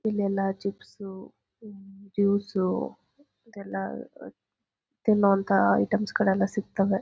ಇಲ್ಲೆಲ್ಲ ಚಿಪ್ಸು ಹ್ಮ್ ಜೂಸು ಅದೆಲ್ಲ ಆಯಾ ತಿನ್ನೋ ಅಂತ ಐಟೆಮ್ಸ ಗಳೆಲ್ಲ ಸಿಗ್ತವೆ.